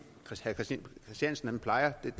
christiansen plejer